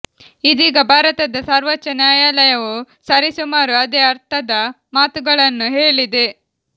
ಇದೀಗ ಭಾರತದ ಸರ್ವೋಚ್ಚ ನ್ಯಾಯಾ ಲಯವೂ ಸರಿಸುಮಾರು ಅದೇ ಅರ್ಥದ ಮಾತುಗಳನ್ನು ಹೇಳಿದೆ